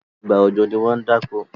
ìgbà ọjọ ní wón dá okò.